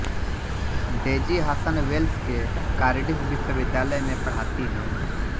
daisy Hasan Wales के Cardiff विश्वविद्यालय में पढ़ाती हैं